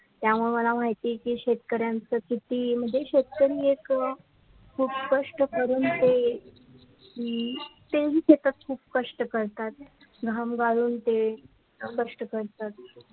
त्यामुळे मला माहिती की शेतकरीयांचा किती म्हणजे शेतकरी एक खुपच कष्ट करून ते म्म ते ही शेतात खुप कष्ट करतात घाम गाळून ते कष्ट करतात